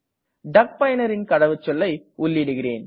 டக் பயனரின் கடவுச்சொல்லை உள்ளிடுகிறேன்